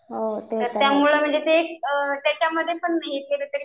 तर त्यामुळे म्हणजे ते त्याच्यामध्ये पण